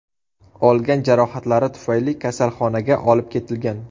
olgan jarohatlari tufayli kasalxonaga olib ketilgan.